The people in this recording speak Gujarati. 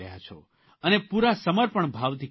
અને પૂરા સમર્પણ ભાવથી કરી રહ્યા છો